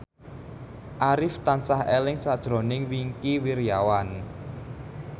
Arif tansah eling sakjroning Wingky Wiryawan